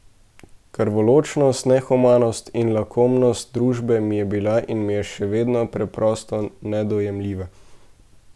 Krvoločnost, nehumanost in lakomnost družbe mi je bila in mi je še vedno preprosto nedojemljiva.